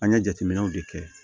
An ye jateminɛw de kɛ